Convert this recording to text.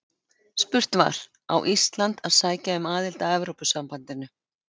Spurt var: Á Ísland að sækja um aðild að Evrópusambandinu?